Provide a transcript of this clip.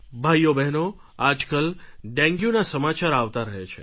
ભાઈઓબહેનો આજકાલ ડેન્ગ્યુના સમાચાર આવતા રહે છે